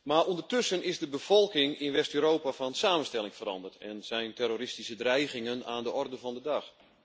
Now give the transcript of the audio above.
Maar ondertussen is de bevolking in West Europa van samenstelling veranderd en zijn terroristische dreigingen aan de orde van de dag.